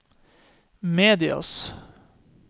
medias